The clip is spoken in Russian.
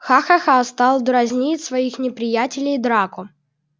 ха-ха-ха стал дразнить своих неприятелей драко